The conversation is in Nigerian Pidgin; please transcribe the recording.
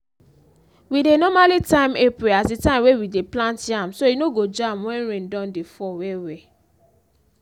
we dey normally time april as the time wey we dey plant yam so e no go jam wen rain don dey fall well well.